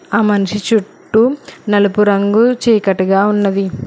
ఆ మనిషి చుట్టూ నలుపు రంగు చీకటిగా ఉన్నది.